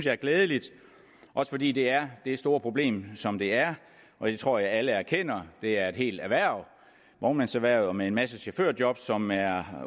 er glædeligt også fordi det er det store problem som det er og det tror jeg alle erkender det er et helt erhverv vognmandserhvervet med en masse chaufførjob som er